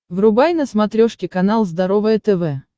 врубай на смотрешке канал здоровое тв